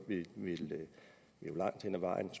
langt hen ad vejen